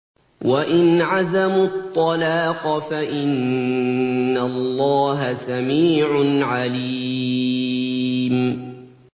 وَإِنْ عَزَمُوا الطَّلَاقَ فَإِنَّ اللَّهَ سَمِيعٌ عَلِيمٌ